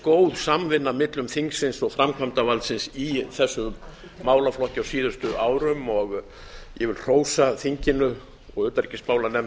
góð samvinna millum þingsins og framkvæmdarvaldsins í þessum málaflokki á síðustu árum og ég vil hrósa þinginu og utanríkismálanefnd